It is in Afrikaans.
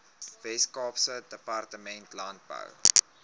weskaapse departement landbou